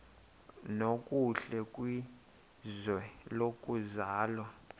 nokuhle kwizwe lokuzalwa